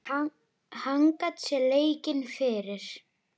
Hann gat séð leikinn fyrir.